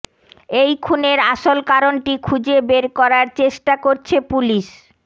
এই খুনের আসল কারনটি খুঁজে বের করার চেষ্টা করছে পুলিশ